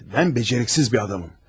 Ben beceriksiz bir adamım.